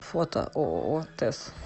фото ооо тэс